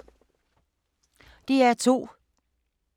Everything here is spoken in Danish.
DR2